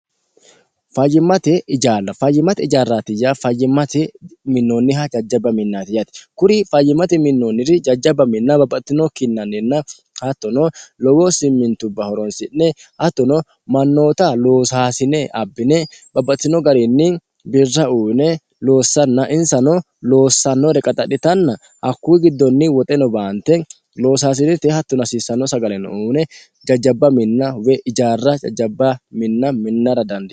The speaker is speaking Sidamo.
fayyimmate ijaarra fayyimati ijaarraatiyya fayyimmate minnoonniha jajjabba minnatiyati kuri fayyimati minnoonniri jajjabba minna babbaxtino kinnanninna hattono lowoo simmintubba horonsi'ne hattono mannoota loosaasine abbine babbaxtino gariinni birra uyine loossanna insano loossannore qaxadhitanna hakkuu giddonni woxeno baante loosaasinete hattono hasiissanno sagaleno uine jajjabba minna we ijaarra jajjabba minna minnara dandiinanni.